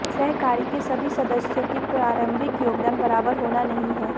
सहकारी के सभी सदस्यों की प्रारंभिक योगदान बराबर होना नहीं है